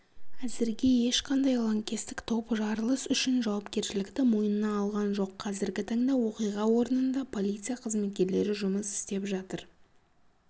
әзірге ешқандай лаңкестік топ жарылыс үшін жауапкершілікті мойнына алған жоқ қазіргі таңда оқиға орнында полиция қызметкерлері жұмыс істеп жатыр